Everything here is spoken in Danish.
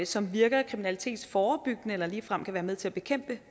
som virker kriminalitetsforebyggende eller ligefrem kan være med til at bekæmpe